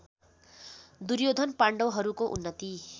दुर्योधन पाण्डवहरूको उन्नति